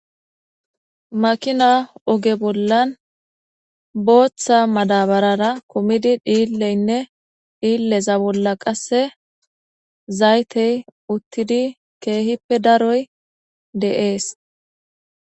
Makina oge bollan booththa madabarara kumidi dhiileyne dhiileza bolla qasse zaytey uttidi kehippe daroy de'es.